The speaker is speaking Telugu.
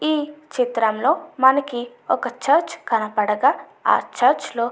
ఈ చిత్రంలో మనకి ఒక చర్చి కనపడగా అ చర్చ్ లో --